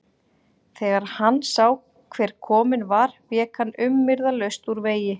Þegar hann sá hver kominn var vék hann umyrðalaust úr vegi.